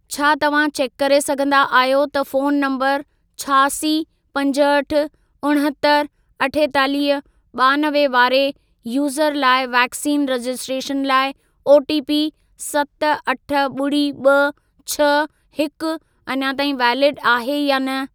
छा तव्हां चेक करे सघंदा आहियो त फोन नंबर छहासी, पंजहठि, उणहतरि, अठेतालीह, ॿानवे वारे यूज़र लाइ वैक्सीन रजिस्ट्रेशन लाइ ओटीपी सत, अठ, ॿुड़ी, ॿ, छह हिकु अञा ताईं वैलिड आहे या न?